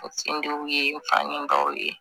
N sendugu ye n fanin dɔw ye